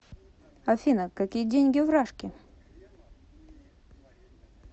афина какие деньги в рашке